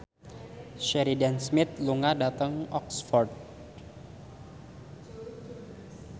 Sheridan Smith lunga dhateng Oxford